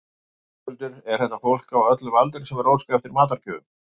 Höskuldur, er þetta fólk á öllum aldri sem er að óska eftir matargjöfum?